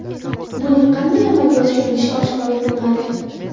Buning qanday amalga oshirilishi oshkor etilmadi.